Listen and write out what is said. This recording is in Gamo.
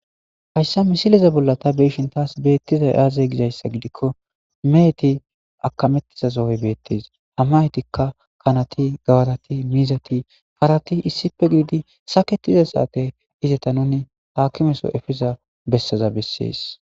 Hayssa misileza bolla ta beishin taas beettiza aazey gizayssa gidikko meheti akamettiza sohoy beettis ha metikka kanati, gawarati, miizati ,parati, issipe giidi saketiza saate izata nuni taakimeso efiza bessaza bessees.